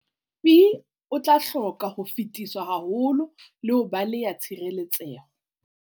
Pi, o tla hoka ho fetiswa haholo le ho baleha tshireletseho.